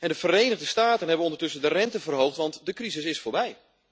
De Verenigde Staten hebben ondertussen de rente verhoogd, want de crisis is voorbij.